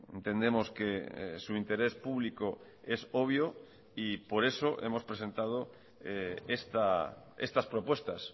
entendemos que su interés público es obvio y por eso hemos presentado estas propuestas